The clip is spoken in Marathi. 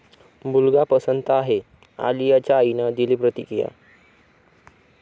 मुलगा पसंत आहे, आलियाच्या आईनं दिली प्रतिक्रिया!